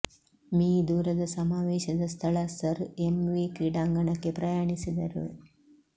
me ದೂರದ ಸಮಾವೇಶದ ಸ್ಥಳ ಸರ್ ಎಂ ವಿ ಕ್ರೀಡಾಂಗಣಕ್ಕೆ ಪ್ರಯಾಣಿಸಿದರು